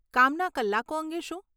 કામના કલાકો અંગે શું?